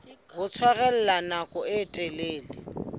ho tshwarella nako e telele